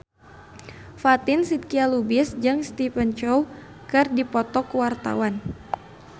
Fatin Shidqia Lubis jeung Stephen Chow keur dipoto ku wartawan